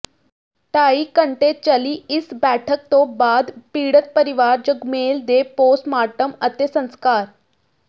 ਢਾਈ ਘੰਟੇ ਚੱਲੀ ਇਸ ਬੈਠਕ ਤੋਂ ਬਾਅਦ ਪੀੜਤ ਪਰਿਵਾਰ ਜਗਮੇਲ ਦੇ ਪੋਸਟਮਾਰਟਮ ਅਤੇ ਸੰਸਕਾਰ